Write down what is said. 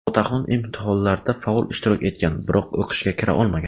Otaxon imtihonlarda faol ishtirok etgan, biroq o‘qishga kira olmagan.